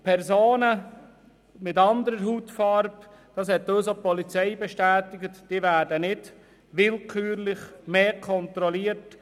Personen mit anderer Hautfarbe werden nicht willkürlich häufiger kontrolliert.